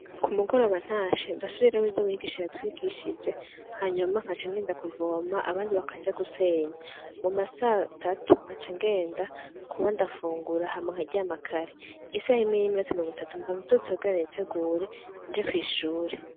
Ku mu goroba ntashe ndasubiramwo ivyo mwigisha yatwigishije hanyuma nkaca ngenda kuvoma abandi bakaja gusenya muma saa tatu ngaca ngenda kuba ndafungura hama nkaryama kare isaha imwe n'iminota mirongo itatu mba vyutse kugira nitegure nje kw'ishuri.